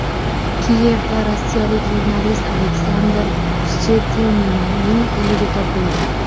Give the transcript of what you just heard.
Kiyevda rossiyalik jurnalist Aleksandr Shchetininning o‘ligi topildi.